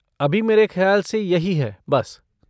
अभी मेरे ख़याल से यही है बस।